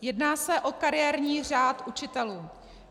Jedná se o kariérní řád učitelů.